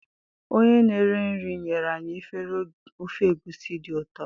onye na-eri nri nyere anyị efere ofe egusi dị ụtọ